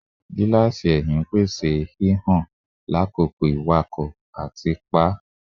Gilasi ẹhin n pese hihan lakoko iwakọ ati pa